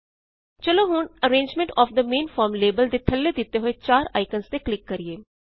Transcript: ਚਲੋ ਹੁਣ arrangement of the main form label ਦੇ ਥੱਲੇ ਦਿੱਤੇ ਹੋਏ ਚਾਰ ਆਇਕਨਜ਼ ਤੇ ਕਲਿਕ ਕਰਿਏ